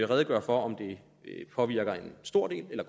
redegøre for om det påvirker en stor del eller